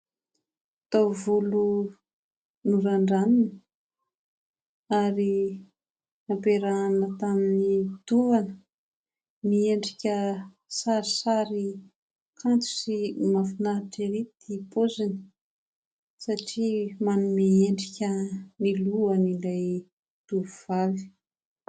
Taovolo norandranina ary nampiarahana tamin'ny tovana. Miendrika sarisary, kanto sy mahafinaritra ery ity paoziny satria manome endrika ny lohan' ilay tovovavy.